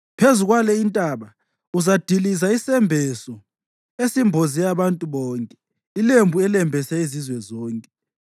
Phezu kwale intaba uzadiliza isembeso esimboze abantu bonke, ilembu elembese izizwe zonke;